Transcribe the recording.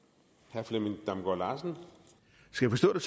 to tusind og